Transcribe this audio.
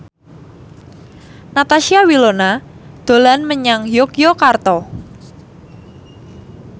Natasha Wilona dolan menyang Yogyakarta